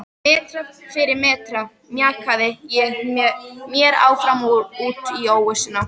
Metra fyrir metra mjakaði ég mér áfram út í óvissuna.